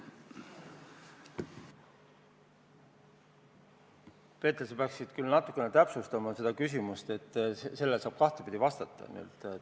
Peeter, sa peaksid natukene täpsustama seda küsimust, sellele saab vastata kahtepidi.